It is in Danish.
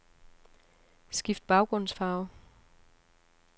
Skift baggrundsfarve.